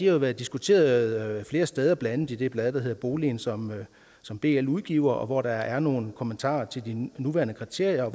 jo været diskuteret flere steder blandt andet i det blad der hedder boligen som som bl udgiver hvor der er nogle kommentarer til de nuværende kriterier